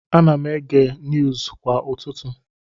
Ana m ege niuuzu kwa ụtụtụ.